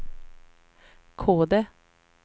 Kode